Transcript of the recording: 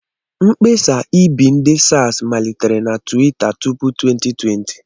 Mkpesa Ibi ndi Saz malitere na Tiwita tupu 2020.